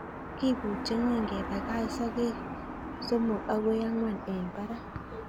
Kibuche ngweny kebakach soket somok akoi angwan en barak.